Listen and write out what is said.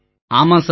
ஆமாம் சார்